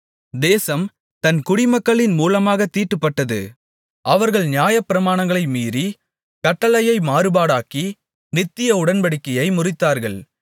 தேசம் தன் குடிமக்களின் மூலமாக தீட்டுப்பட்டது அவர்கள் நியாயப்பிரமாணங்களை மீறி கட்டளையை மாறுபாடாக்கி நித்திய உடன்படிக்கையை முறித்தார்கள்